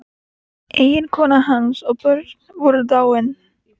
Eiginkona hans og börn voru dáin.